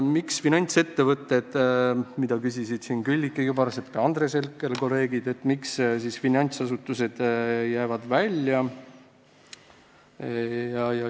Miks finantsettevõtted – seda küsisid kolleegid Külliki Kübarsepp ja Andres Herkel –, finantsasutused välja jäävad.